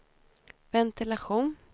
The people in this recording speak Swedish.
ventilation